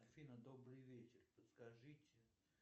афина добрый вечер подскажите